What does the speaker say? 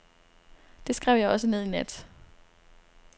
Det skrev jeg også ned i nat.